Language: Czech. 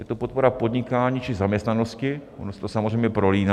Je to podpora podnikání či zaměstnanosti, ono se to samozřejmě prolíná.